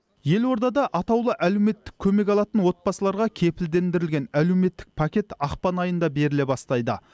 елорда да атаулы әлеуметтік көмек алатын отбасыларға кепілдендірілген әлеуметтік пакет ақпан айында беріле бастайды